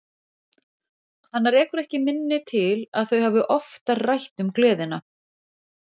Hana rekur ekki minni til að þau hafi oftar rætt um gleðina.